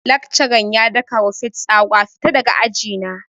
Laccaran ya daka wa Faith tsawa 'Fita daga aji na'!